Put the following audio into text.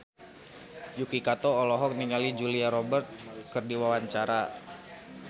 Yuki Kato olohok ningali Julia Robert keur diwawancara